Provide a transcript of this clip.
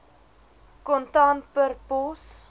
kontant per pos